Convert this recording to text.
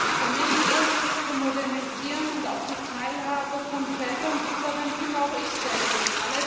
Herr Präsident! Familienpolitik zu modernisieren und auch die Teilhabe von Vätern zu fördern, finde auch ich sehr gut.